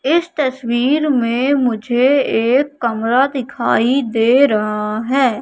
इस तस्वीर में मुझे एक कमरा दिखाई दे रहा हैं।